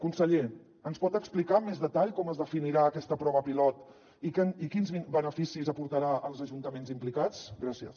conseller ens pot explicar amb més detall com es definirà aquesta prova pilot i quins beneficis aportarà als ajuntaments implicats gràcies